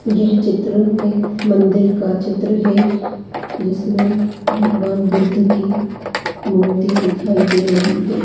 यह चित्र एक मंदिर का चित्र है। जिसमे भगवान बुद्ध की मूर्ति दिखाई दे रही है।